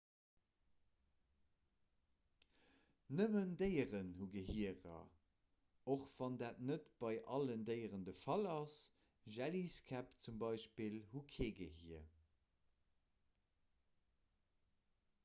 nëmmen déieren hu gehierer och wann dat net bei allen déieren de fall ass; jelliskäpp hunn zum beispill kee gehier